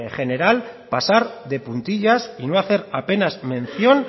general pasar de puntillas y no hacer apenas mención